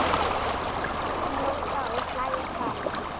Njóta og hlæja saman.